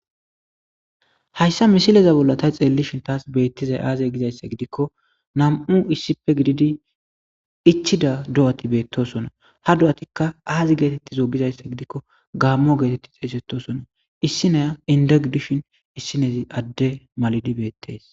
Haysa missileza bola ta xelashen tas betizay tas aze gizaysa gidiko nam'u issipe gididi ichida do'ati betosona ha do'atika aze getetizo gizaysa gidiko gamo geteti xesetosona issiniya inde gidishin isinezi Ade makidi betes.